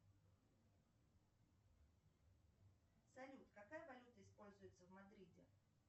салют какая валюта используется в мадриде